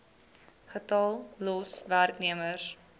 getal los werknemers